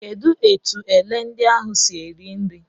Kedụ etu ele ndị ahụ siiri eri nri.